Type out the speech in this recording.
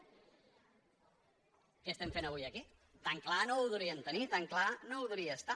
què estem fent avui aquí tan clar no ho deurien tenir tan clar no deuria estar